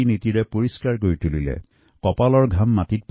নিজৰ ঘাম পেলোৱাৰ লগতে সকলোৱে এই কামত হাত উজান দিয়ে